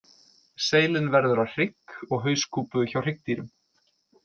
Seilin verður að hrygg og hauskúpu hjá hryggdýrum.